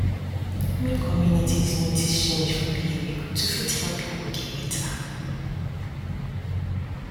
make communities notice change for behavior to fit help people get better